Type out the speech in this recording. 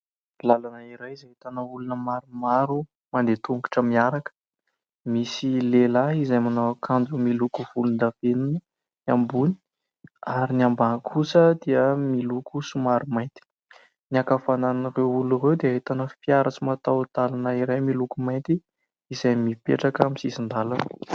Lalana iray izay ahitana olona maromaro mandeha tongotra miaraka. Misy lehilahy izay manao akanjo miloko volondavenona ny ambony ary ny ambany kosa dia miloko somary mainty. Ny ankavanan'ireo olona ireo dia ahitana fiara tsy mataho-dalana iray miloko mainty izay mipetraka amin'ny sisin-dalana.